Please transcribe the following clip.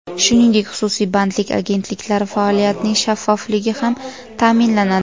Shuningdek, xususiy bandlik agentliklari faoliyatining shaffofligi ham ta’minlanadi.